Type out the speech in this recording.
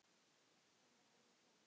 Þeim er alveg sama.